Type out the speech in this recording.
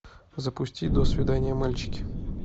запусти до свидания мальчики